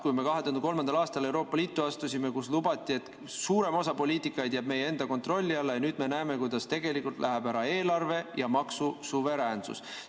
Kui me 2003. aastal Euroopa Liitu astusime, siis lubati, et suurem osa poliitikaid jääb meie enda kontrolli alla, ja nüüd me näeme, kuidas tegelikult läheb ära eelarve‑ ja maksusuveräänsus.